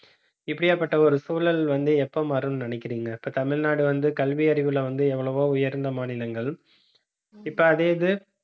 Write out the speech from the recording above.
இப்படியாப்பட்ட ஒரு சூழல் வந்து, எப்ப மாறும்ன்னு நினைக்கிறீங்க இப்ப தமிழ்நாடு வந்து கல்வி அறிவுல வந்து எவ்வளவோ உயர்ந்த மாநிலங்கள். இப்ப அதே இது